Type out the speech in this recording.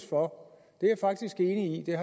for